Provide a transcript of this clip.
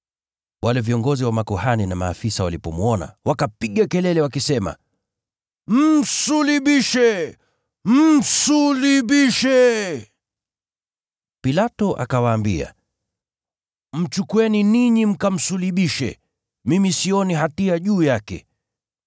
Wale viongozi wa makuhani na maafisa walipomwona, wakapiga kelele wakisema, “Msulubishe! Msulubishe!” Pilato akawaambia, “Mchukueni ninyi mkamsulubishe, mimi sioni hatia juu yake.”